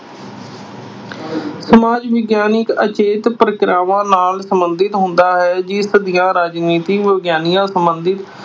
ਸਮਾਜ ਵਿਗਿਆਨ ਅਚੇਤ ਪ੍ਰਕਿਰਿਆਵਾਂ ਨਾਲ ਸਬੰਧਤ ਹੁੰਦਾ ਹੈ। ਜਿਸ ਦੀਆਂ ਰਾਜਨੀਤਿਕ ਵਿਗਿਆਨ ਸਬੰਧੀ